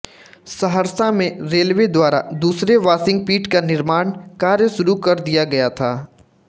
सहरसा में रेलवे द्वारा दूसरे वाशिंग पिट का निर्माण कार्य शुरू कर दिया गया था